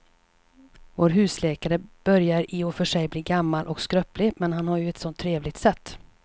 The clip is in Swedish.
Vår husläkare börjar i och för sig bli gammal och skröplig, men han har ju ett sådant trevligt sätt!